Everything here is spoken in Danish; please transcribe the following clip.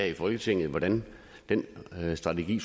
i folketinget hvordan den strategi